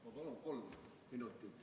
Ma palun kolm minutit.